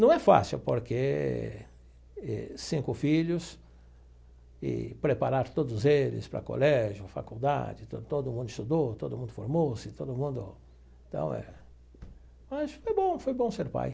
Não é fácil porque cinco filhos e preparar todos eles para o colégio, faculdade, então todo mundo estudou, todo mundo formou-se, todo mundo então é... Mas foi bom, foi bom ser pai.